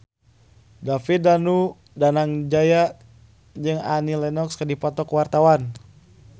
David Danu Danangjaya jeung Annie Lenox keur dipoto ku wartawan